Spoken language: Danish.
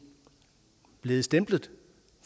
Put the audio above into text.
blevet stemplet